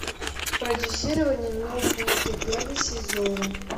продюсирование нобуты первый сезон